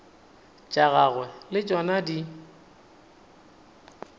tša gagwe le tšona di